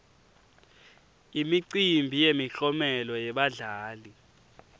imicimbi yemiklomelo yebadlali